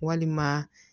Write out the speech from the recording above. Walima